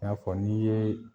I n'a fɔ n'i yee